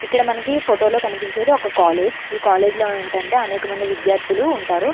ఇక్కడ మనకి ఫోటోలో కనిపించేది ఒక కాలేజీ ఈ కాలేజీలో ఏంటంటే అనేక మంది విద్యార్థులు ఉంటారు.